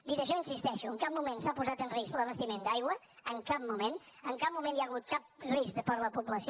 dit això hi insisteixo en cap moment s’ha posat en risc l’abastiment d’aigua en cap moment i en cap moment hi ha hagut cap risc per a la població